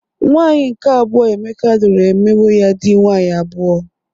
Nwaanyị nke abụo Emeka lụrụ emewo ya dị nwaanyị abụọ.